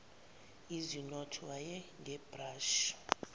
ezinot wayi ngebrashi